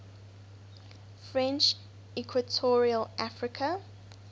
french equatorial africa